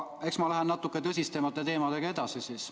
Aga ma lähen edasi natuke tõsisemate teemadega.